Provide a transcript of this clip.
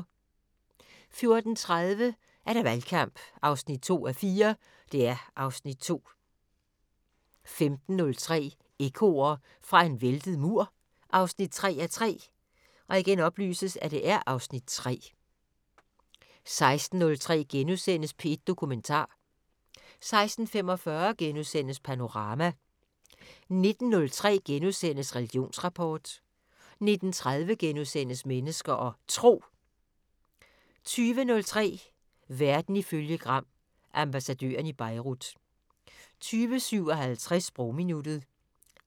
14:30: Valgkamp 2:4 (Afs. 2) 15:03: Ekkoer fra en væltet mur 3:3 (Afs. 3) 16:03: P1 Dokumentar * 16:45: Panorama * 19:03: Religionsrapport * 19:30: Mennesker og Tro * 20:03: Verden ifølge Gram: Ambassadøren i Beirut 20:57: Sprogminuttet